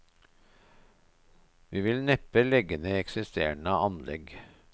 Vi vil neppe legge ned eksisterende anlegg.